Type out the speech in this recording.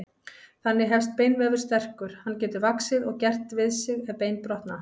Þannig helst beinvefur sterkur, hann getur vaxið og gert við sig ef bein brotna.